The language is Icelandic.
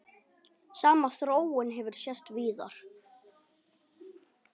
Sama þróun hefur sést víðar.